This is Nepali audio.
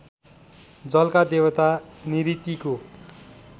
जलका देवता निऋतिको